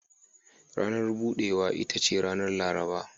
Ranar budewa ita ce ranar Laraba.